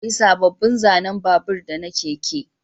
Za a yi sabobbin zanen babur da na keke